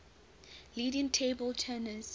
leading table tennis